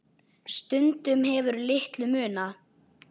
Stundum hefur litlu munað.